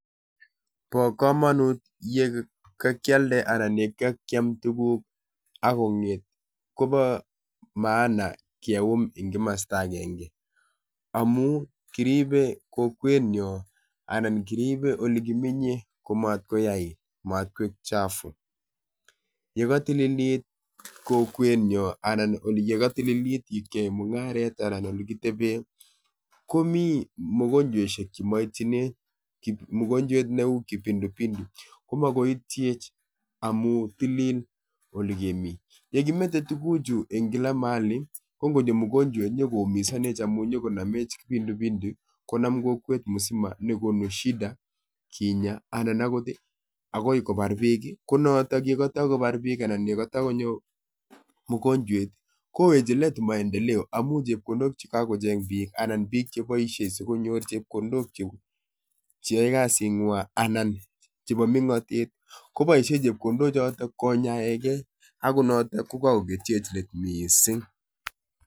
Bo kamanut ye kakialde anan ye kakiam tuguk akong'et kobo maana ngeum en komosto agenge amun kiribe emenyo ana kiribe ole kimenye amat koyait anan mot koik chafu. Yekotililit kokwenyony anan ye kotililit ye keyoen mung'aret anan ye kiteben komi mogonjweisiek chemoityinech neu kipindupindu komoityech amun tilil ole kemi. Yekimete tuguchu en kila mahali ko ngonyo mogonjwet konyo koumisanech amu nyo konomech kipindupindu konam kokwet musima ako konu shida kinyaa anan ko agoi kobar biik ko noton yetoi kobar biik anan yekotoi konyoo mogonjwet kowekyin let maendeleo amun chepkondok chekakocheng' biik anan biik cheboisie sikonyor chepkondok cheyoe kasing'wang' anan ko chebo meng'otet koboisie chepkondok choton konyaege ako noton ko kakokerchech let missing.